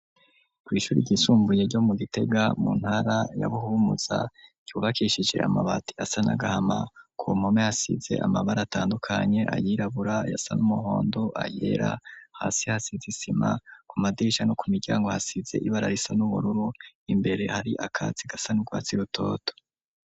Kw' ishuri ryisumbuye ryo mu gitega ,mu ntara ya buhumuza ,cubakishisire amabati asa n 'agahama, ku mpome hasize amabara atandukanye ,ayirabura, ayasa n'umuhondo, ayera, hasi hasize isima, ku madirisha no ku miryango hasize ibara risa n'ubururu, imbere hari akatsi gasa n' urwatsi rutoto.